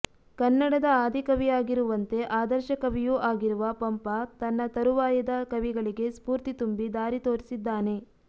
ಕನ್ನಡದ ಆದಿಕವಿಯಾಗಿರುವಂತೆ ಆದರ್ಶಕವಿಯೂ ಆಗಿರುವ ಪಂಪ ತನ್ನ ತರುವಾಯದ ಕವಿಗಳಿಗೆ ಸ್ಫೂರ್ತಿ ತುಂಬಿ ದಾರಿ ತೋರಿಸಿದ್ದಾನೆ